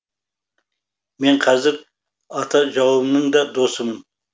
мен қазір ата жауымның да досымын